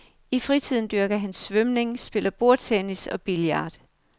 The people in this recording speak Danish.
I fritiden dyrker han svømning, spiller bordtennis og billard.